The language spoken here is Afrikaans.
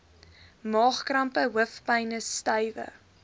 maagkrampe hoofpyne stywe